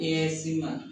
I ye si ma